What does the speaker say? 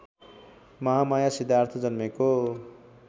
महामाया सिद्धार्थ जन्मेको